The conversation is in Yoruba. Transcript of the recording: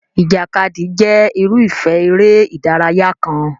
Ìjàkadì jẹ́ irúfẹ́ eré ìdárayá kan.